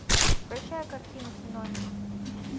включай картину синонимы